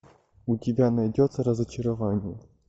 у тебя найдется разочарование